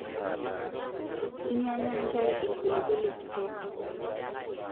Inyanya ntae lpilipili kitok